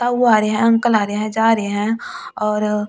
बाबू आ रहे हैं अंकल आ रहे हैं जा रहे हैं और--